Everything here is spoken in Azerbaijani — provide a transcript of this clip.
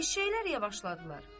Eşşəklər yavaşladılar.